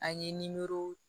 An ye nimoro